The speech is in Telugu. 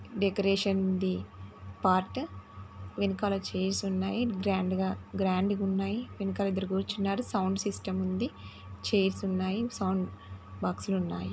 డెకరేషన్ ఉంది పార్ట్ వెనుకల చైర్స్ ఉన్నాయి గ్రాండ్గ-గ్రాండ్ గున్నాయి వెనుకల ఇద్దరు కూర్చున్నారు సౌండ్ సిస్టం ఉంది చైర్స్ ఉన్నాయి సౌండ్ బాక్స్ లు ఉన్నాయి.